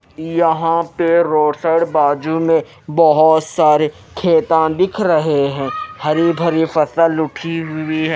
यहां पे रोसड़ बाजू में बहोत सारे खेता दिख रहे हैं हरी भरी फसल उठी हुई है।